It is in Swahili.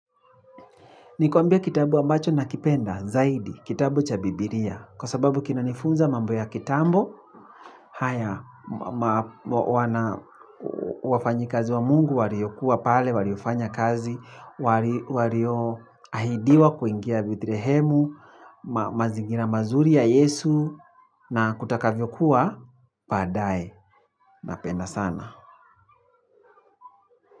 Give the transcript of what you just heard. Nikuambie kitabu ambacho nakipenda zaidi, kitabu cha biblia, kwa sababu kinanifunza mambo ya kitambo haya wafanyikazi wa mungu, waliokuwa pale, waliofanya kazi, walioahidiwa kuingia bethlehemu, mazingira mazuri ya yesu, na kutakavyokuwa, baadaye, napenda sana.